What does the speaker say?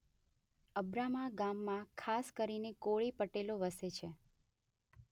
અબ્રામા ગામમાં ખાસ કરીને કોળી પટેલો વસે.